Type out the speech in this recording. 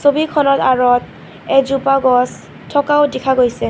ছবিখনৰ আঁৰত এজোপা গছ থকাও দেখা গৈছে.